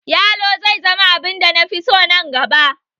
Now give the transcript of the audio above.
Yalo zai zama abin da na fi so nan gaba